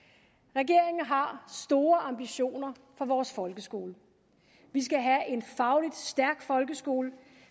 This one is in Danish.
regeringen har store ambitioner for vores folkeskole vi skal have en fagligt stærk folkeskole